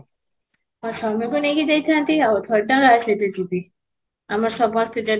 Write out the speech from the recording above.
ମୋ ସ୍ୱାମୀକୁ ନେଇ ଯାଇଥାନ୍ତି ଆଉ ନା ଆଉ କାହା ସାଙ୍ଗରେ ଯିବି, ଆମେ ସମସ୍ତେ ଯଦି